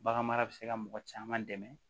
Baganmara bɛ se ka mɔgɔ caman dɛmɛ